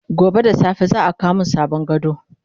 gobe da safe za'a kawo min sabon gado